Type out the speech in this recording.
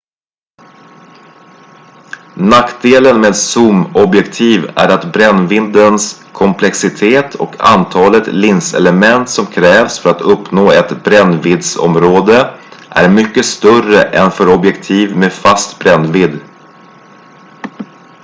nackdelen med zoomobjektiv är att brännviddens komplexitet och antalet linselement som krävs för att uppnå ett brännviddsområde är mycket större än för objektiv med fast brännvidd